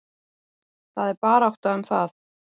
Það er barátta um það.